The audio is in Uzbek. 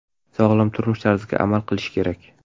Sog‘lom turmush tarziga amal qilish kerak.